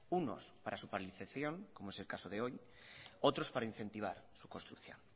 unos para su paralización como es el caso de hoy otros para incentivar su construcción